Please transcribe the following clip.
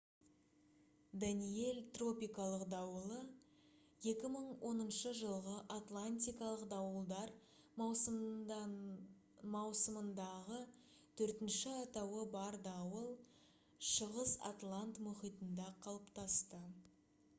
«даниэль» тропикалық дауылы 2010 жылғы атлантикалық дауылдар маусымындағы төртінші атауы бар дауыл шығыс атлант мұхитында қалыптасты